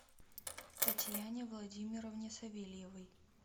татьяне владимировне савельевой